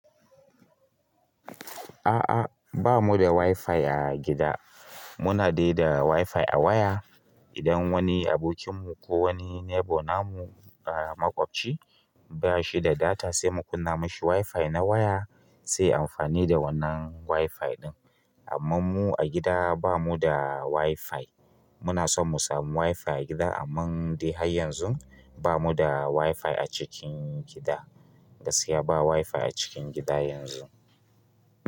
A'a bamu da wifi a gida. Muna dai da wifi a waya. Idan wani abokin mu ko wani neighbour namu, maƙwabci ba shi da data sai mu kunna mashi wifi na waya sai ya amfani da wannan wifi ɗin. Amma mu a gida ba mu da wifi. Muna son mu samu wifi a gida amman dai har yanzu bamu da wifi a cikin gida. Gaskiya ba wifi a cikin gida yanzu.